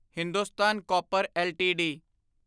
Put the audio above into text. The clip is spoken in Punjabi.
Hindustan copper LTD